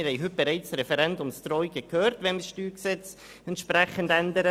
Wir haben heute bereits Referendumsdrohungen gehört, wenn wir das StG entsprechend ändern.